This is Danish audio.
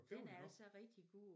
Den er altså rigtig god